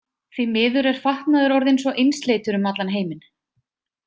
Því miður er fatnaður orðinn svo einsleitur um allan heiminn.